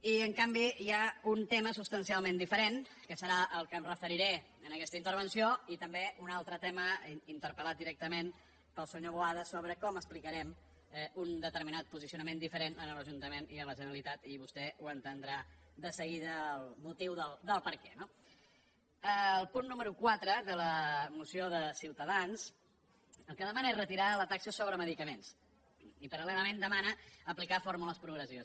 i en canvi hi ha un tema substancialment diferent que serà el que m’hi referiré en aquesta intervenció i també un altre tema interpel·lat directament pel senyor boada sobre com explicarem un determinat posicionament diferent en un ajuntament i en la generalitat i vostè entendrà de seguida el motiu del perquè no el punt número quatre de la moció de ciutadans el que demana és retirar la taxa sobre medicaments i parallelament demana aplicar fórmules progressives